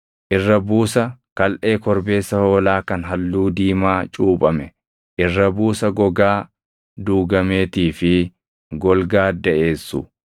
irra buusa kalʼee korbeessa hoolaa kan halluu diimaa cuuphame, irra buusa gogaa duugameetii fi golgaa daʼeessu;